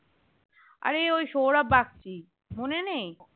আরে ওই সৌরভ বাগচী মনে নেই